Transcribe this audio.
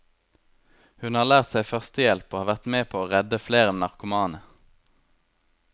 Hun har lært seg førstehjelp og har vært med på å redde flere narkomane.